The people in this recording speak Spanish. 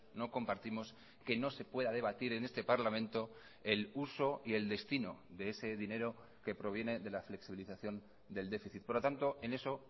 no compartimos que no se pueda debatir en este parlamento el uso y el destino de ese dinero que proviene de la flexibilización del déficit por lo tanto en eso